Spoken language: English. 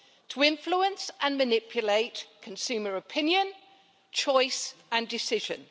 to influence and manipulate consumer opinion, choice and decision?